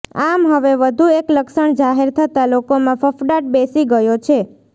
આમ હવે વધુ એક લક્ષણ જાહેર થતાં લોકોમાં ફફડાટ બેસી ગયો છે